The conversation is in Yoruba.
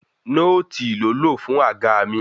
Nóòtì ló lò fún àga mí.